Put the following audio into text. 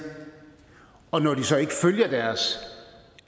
og når kommunalbestyrelserne så ikke følger de